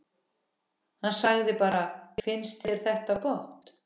Hann sagði bara: Fannst þér þetta gott?